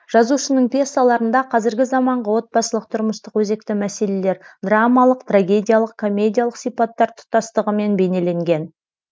жазушының пьесаларында қазіргі заманғы отбасылық тұрмыстық өзекті мәселелер драмалық трагедиялық комедиялық сипаттар тұтастығымен бейнеленген